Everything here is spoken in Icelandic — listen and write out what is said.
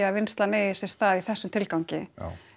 að vinnslan eigi sér stað í þessum tilgangi